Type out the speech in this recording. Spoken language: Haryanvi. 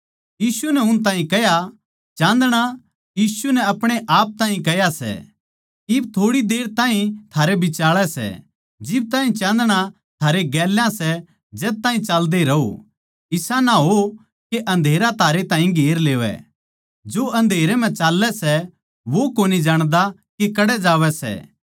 यीशु नै उन ताहीं कह्या चाँदणा यीशु नै आपणेआप तै कह्या सै इब थोड़ी देर ताहीं थारै बिचाळै सै जिब ताहीं चाँदणा थारै गेल्या सै जद ताहीं चाल्दे रहो इसा ना हो के अँधेरा थारै ताहीं घेर लेवै जो अँधेरे म्ह चाल्लै सै वो कोनी जाण्दा के कड़ै जावै सै